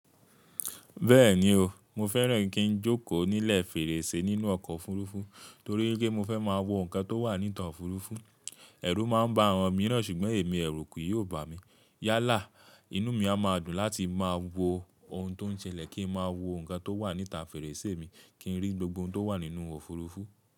Bẹ́ẹ̀ni o, mo fẹ́ràn kí n jókòó nílẹ̀ fèrèsé nínú ọkọ̀ òfurufú torí pé mo fẹ́ máa wo nǹkan tó wà ní ìta òfurufú. Ẹ̀rù máa ń ba àwọn mìíràn, ṣùgbọ́n èmi ẹ̀rù kì yóò ba mi. Yálà, inú mi a máa dùn láti máa wo ohun tó ń ṣẹlẹ̀ kí n máa wo nǹkan tó wà ní ìta fèrèsé mi kí n rí gbogbo ohun tó wà nínú òfurufú.